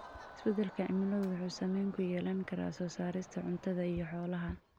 Isbedelka cimiladu wuxuu saameyn ku yeelan karaa soo saarista cuntada iyo xoolaha.